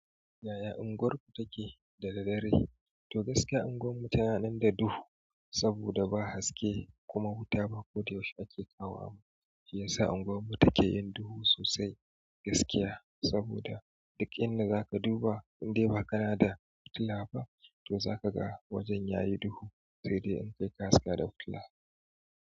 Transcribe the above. Yaya unguwarku take da daddare? To gaskiya unguwarmu tananan da duhu saboda ba haske kuma wuta ba ko da yaushe ake kawo ba. Shi yasa unguwarmu take yin duhu sosai gaskiya saboda duk inda zaka duba in dai ba kana da fitila ba to zaka ga wajen yayi duhu sai dai in kai haska da fitila.